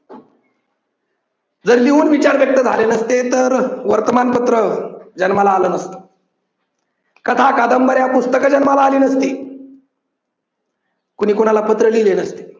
जर लिहून विचार व्यक्त झाले नसते तर अह वर्तमानपत्र जन्माला आल नसत. कथा-कादंबऱ्या, पुस्तक जन्माला आली नसती. कुणी कोणाला पत्र लिहिल नसत.